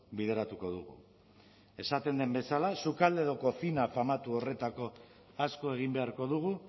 bideratuko dugu esaten den bezala sukalde edo cocina famatu horretako asko egin beharko dugu